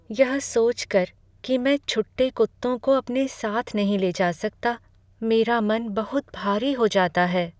यह सोच कर कि मैं छुट्टे कुत्तों को अपने साथ नहीं ले जा सकता, मेरा मन बहुत भारी हो जाता है।